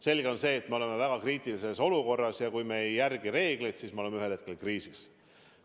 Selge on, et me oleme väga kriitilises olukorras, ja kui me ei järgi reegleid, siis me oleme ühel hetkel kriisis.